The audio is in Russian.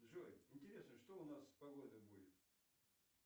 джой интересно что у нас с погодой будет